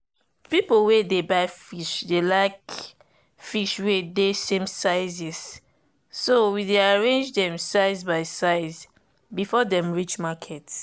people wey dey buy fish dey like fish wey dey same sizes so we dey arrange them size by size before dem reach market